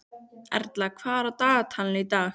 Erla, hvað er í dagatalinu í dag?